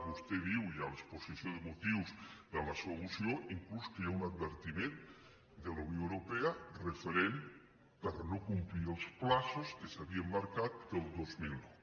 vostè diu i a l’exposició de motius de la seua moció inclús que hi ha un advertiment de la unió europea per no haver complert els terminis que s’havien marcat per al dos mil nou